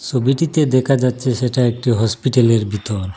সবিটিতে দেখা যাচ্ছে সেটা একটি হসপিটালের ভিতর।